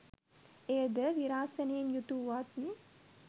එයද විරාසනයෙන් යුතු වූවත්